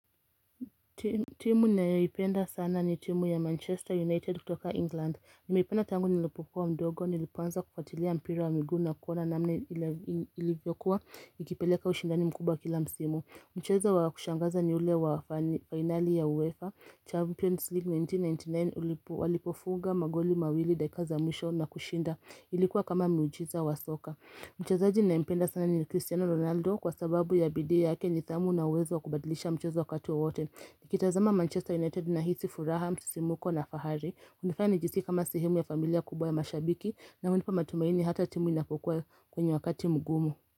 Timu ninayoipenda sana ni timu ya Manchester United kutoka England Nimeipenda tangu nilipokuwa mdogo nilipoanza kufatilia mpira wa miguu na kuona namna ilivyokuwa ikipeleka ushindani mkubwa kila msimu Mchezo wa kushangaza ni ule wa fineli ya UEFA Champions League 1999 walipofunga magoli mawili dakika za mwisho na kushinda ilikuwa kama miujiza wa soka Mchezaji naipenda sana ni Cristiano Ronaldo kwa sababu ya bidii yake nidhamu na uwezo kubadilisha mchezo wakati wowote Nikitazama Manchester United na hisi, furaha, msisimko na fahari unanifanya nijisika kama sehemu ya familia kubwa ya mashabiki na unipa matumaini hata timu inapokuwa kwenye wakati mgumu.